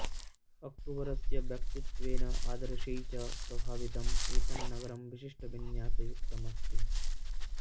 अक्बरस्य व्यक्तित्वेन आदर्शैः च प्रभावितम् एतन्नगरं विशिष्टविन्यासयुक्तम् अस्ति